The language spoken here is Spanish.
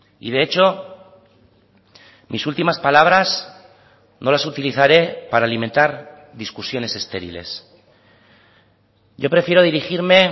y de hecho mis últimas palabras no las utilizaré para alimentar discusiones estériles yo prefiero dirigirme